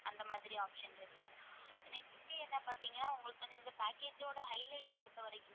அந்த மாதிரி option இருக்கு next என்ன பாத்தீங்கன்னா உங்களுக்கு வந்து இந்த package ஓட highlight பொறுத்தவரைக்குமே